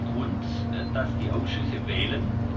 Grund, dass die Ausschüsse wählen.